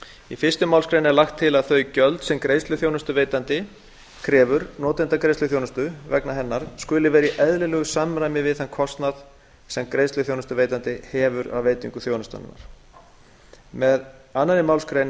í fyrstu málsgrein er lagt til að þau gjöld sem greiðsluþjónustuveitandi krefur notanda greiðsluþjónustu vegna hennar skuli vera í eðlilegu samræmi við þann kostnað sem greiðsluþjónustuveitandi hefur af veitingu þjónustunnar með annarri málsgrein er